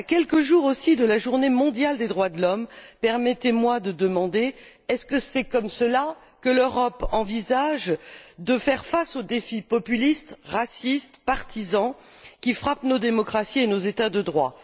À quelques jours aussi de la Journée mondiale des droits de l'homme, permettez moi de demander est ce ainsi que l'Europe envisage de faire face aux défis populistes, racistes, partisans, qui frappent nos démocraties et nos États de droit?.